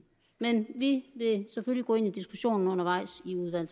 men vi vil selvfølgelig gå ind i diskussionen undervejs